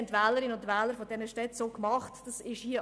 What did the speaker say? Dies haben die Wähler dieser Städte demokratisch entschieden.